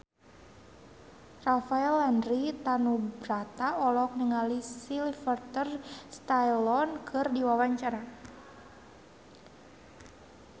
Rafael Landry Tanubrata olohok ningali Sylvester Stallone keur diwawancara